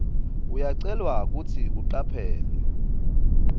uyacelwa kutsi ucaphele